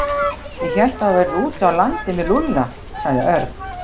Ég hélt að þú værir úti á landi með Lúlla sagði Örn.